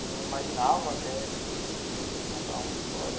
Não imaginava até eu vim aqui contar uma história.